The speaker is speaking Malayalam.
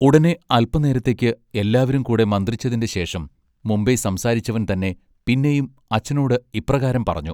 ഉടനെ അല്പ നേരത്തെക്ക് എല്ലാവരും കൂടെ മന്ത്രിച്ചതിന്റെ ശേഷം മുമ്പെ സംസാരിച്ചവൻ തന്നെ പിന്നെയും അച്ഛനോട് ഇപ്രകാരം പറഞ്ഞു.